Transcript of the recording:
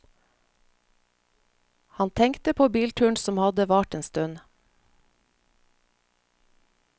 Han tenkte på bilturen som hadde vart en stund.